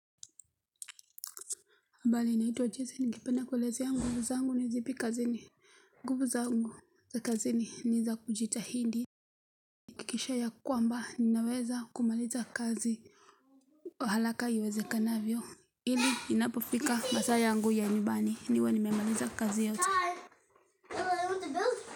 Mbali naituwa jezi ningependa kwelezea mguvu zangu ni zipi kazini. Nguvu zangu za kazini ni za kujitahidi. Kisha ya kwamba ninaweza kumaliza kazi. Kwa halaka iwezekanavyo. Hili inapofika masaa yangu ya nyumbani. Niwe nimemaliza kazi yote.